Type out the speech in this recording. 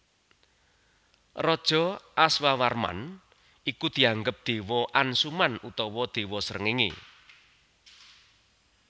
Raja Aswawarman iku dianggep dewa Ansuman utawa dewa Srengenge